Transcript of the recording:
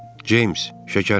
James, şəkərim.